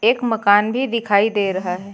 एक मकान भी दिखाई दे रहा है।